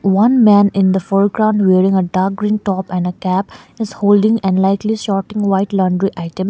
one man in the foreground wearing a dark green top and a cap is holding and likely sorting white laundry items.